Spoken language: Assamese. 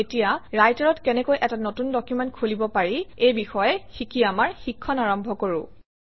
এতিয়া ৰাইটাৰত কেনেকৈ এটা নতুন ডকুমেণ্ট খুলিব পাৰি এই বিষয়ে শিকি আমাৰ শিক্ষণ আৰম্ভ কৰোঁ